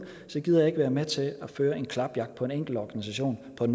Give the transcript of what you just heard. gider jeg ikke være med til at føre en klapjagt på en enkelt organisation på et